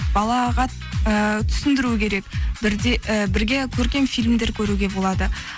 балаға ііі түсіндіру керек і бірге көрген фильмдер көруге болады